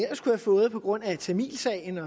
fået på grund af tamilsagen